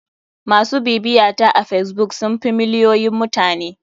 MAsu bibiyata a facebook sun fi miliyoyin mutane.